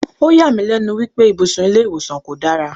O yà mí lénu wípé ibùsùn ilé ìwòsàn kò dára.